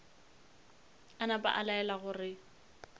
a napa a laela gore